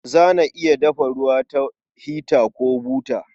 Ana dafa ruwa da hita ko buta.